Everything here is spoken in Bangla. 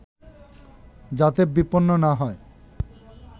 যাতে বিপন্ন না হয়